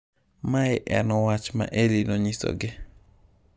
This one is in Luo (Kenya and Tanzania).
Mae en wach ma Elly nonyisogi.